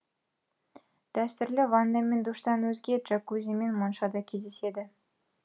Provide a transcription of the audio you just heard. дәстүрлі ванна мен душтан өзге джакузи мен монша да кездеседі